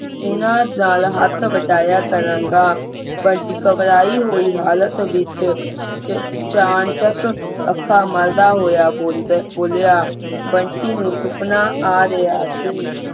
ਉਨ੍ਹਾਂ ਦਾ ਹੱਥ ਵਟਾਇਆ ਕਰਾਂਗਾ ਬੰਟੀ ਘਬਰਾਈ ਹੋਈ ਹਾਲਤ ਦੇ ਵਿੱਚ ਅਚਾਨ ਚੱਕ ਅੱਖਾਂ ਮਲਦਾ ਹੋਇਆ ਬੋਲਬੋਲਿਆ ਬੰਟੀ ਨੂੰ ਸੁਪਨਾ ਆ ਰਿਹਾ ਸੀ